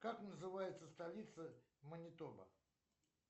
как называется столица манитоба